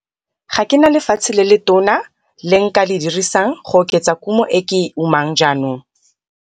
Ga ke na lefatshe le letona le nka le dirisang go oketsa kumo e ke e umang jaanong.